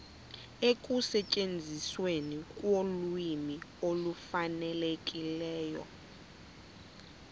ekusetyenzisweni kolwimi olufanelekileyo